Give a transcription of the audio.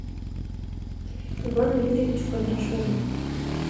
ивану юрьевичу кондрашову